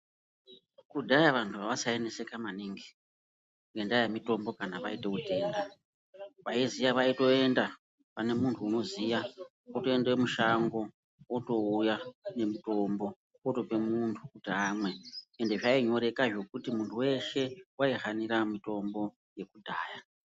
Kudhaya vantu avasaineseka maningi ngendaa yemitombo kana vaito utenda vaiziya vaitoenda pane muntu unoziya votoende mushango votouya nemutombo otope muntu kuti amwe . Ende zvainyoreka zvekuti muntu weshe waihanira mitombo yekudhaya.